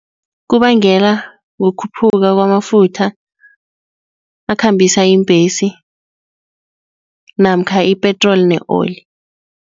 Kubangela kukhuphuka kwamafutha akhambisa iimbhesi namkha ipetroli ne-oli.